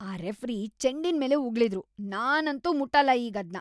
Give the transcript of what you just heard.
ಆ ರೆಫ್ರಿ ಚೆಂಡಿನ್ಮೇಲೇ ಉಗುಳಿದ್ರು. ನಾನಂತೂ ಮುಟ್ಟಲ್ಲ ಈಗದ್ನ.